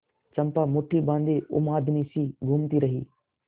चंपा मुठ्ठी बाँधे उन्मादिनीसी घूमती रही